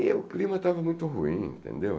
E o clima estava muito ruim, entendeu?